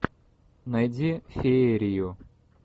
найди феерию